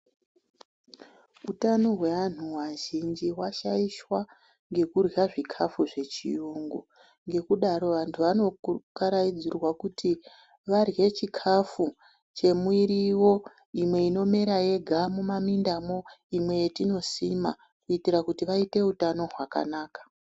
Utano hwevanhu vazhinji hwashaishwa nekudywa chikafu chechiyungu ngekudaro vanhu vanokaraidzirwa kuti vadywe chikafu chimwirivo, imwe inomera yoga mumamindamo, imwe yatinosima kuitira kuti vaite utano hwakanaka.